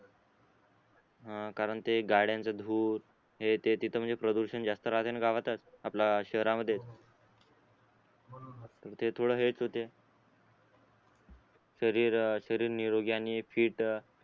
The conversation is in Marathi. हा कारण ते गाड्याच धूर हेते तिथं म्हणजे प्रदूषण जास्त राहतेना गावातच आपलं शहरामध्ये ते थोड हेच होते शरीर शरीर निरोगी आणि फिट